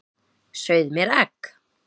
Sauð mér egg.